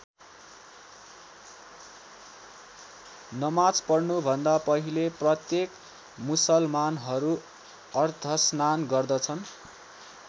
नमाज पढ्नुभन्दा पहिले प्रत्येक मुसलमानहरू अर्धस्नान गर्दछन।